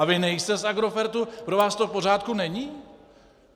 A vy nejste z Agrofertu, pro vás to v pořádku není.